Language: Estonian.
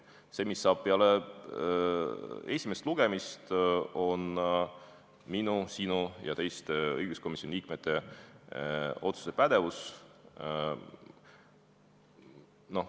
See, mis saab peale esimest lugemist, on minu, sinu ja teiste õiguskomisjoni liikmete otsustuspädevuses.